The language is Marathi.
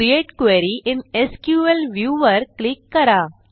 create query in SQL view वर क्लिक करा